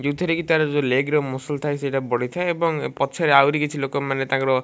ଯୋଉଥିରେ କି ତାର ଯୋଉ ଲେଗ ରେ ମସ୍ଲ ସେଟା ପଡ଼ିଥାଏ ଏବଂ ଏ ପଛ ରେ ଆଉରି କିଛି ଲୋକମାନେ ତାଙ୍କର --